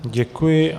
Děkuji.